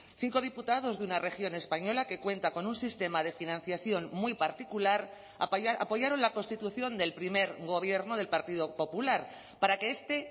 cinco diputados de una región española que cuenta con un sistema de financiación muy particular apoyaron la constitución del primer gobierno del partido popular para que este